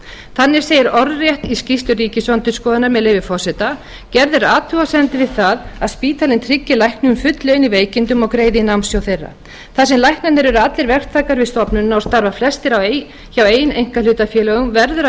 þannig segir orðrétt í skýrslu ríkisendurskoðunar með leyfi forseta gerð er athugasemd við það að spítalinn tryggi læknum full laun í veikindum og greiði í námssjóð þeirra þar sem læknarnir eru allir verktakar við stofnunina og starfa flestir hjá eigin einkahlutafélögum verður að